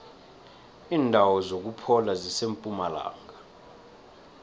indawo zokuphola zisempumalanga